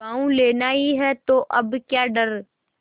गॉँव लेना ही है तो अब क्या डर